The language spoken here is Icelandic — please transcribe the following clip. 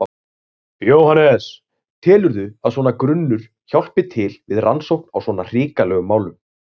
Jóhannes: Telurðu að svona grunnur hjálpi til við rannsókn á svona hrikalegum málum?